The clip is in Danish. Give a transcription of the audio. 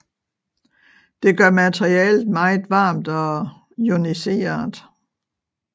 Det gør materialet meget varmt og ioniseret